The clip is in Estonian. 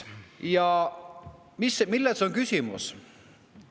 Ja milles on küsimus?